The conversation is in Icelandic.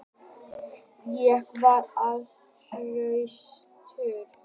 Ég var ekki hraustur.